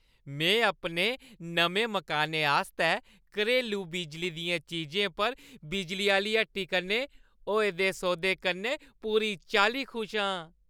में अपने नमें मकानै आस्तै घरेलू बिजली दियें चीजें पर बिजली आह्‌ली हट्टी कन्नै होए दे सौदे कन्नै पूरी चाल्ली खुश आं।